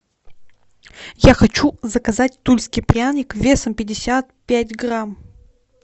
я хочу заказать тульский пряник весом пятьдесят пять грамм